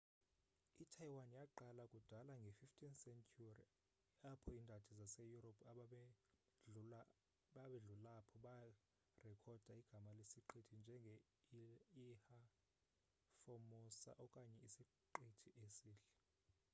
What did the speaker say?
itaiwan yaqala kudala nge 15th century apho indadi zase europe ababedlulaapho barekhoda igama lesiqithi njenge ilha formosa okanye isiqithi esihle